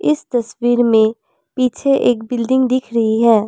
इस तस्वीर में पीछे एक बिल्डिंग दिख रही है।